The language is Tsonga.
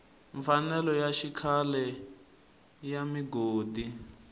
mfanelo ya xikhale ya migodi